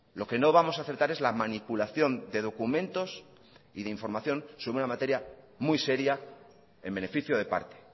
lo que no vamos a aceptar es la manipulación de documentos y de información sobre una materia muy seria en beneficio de parte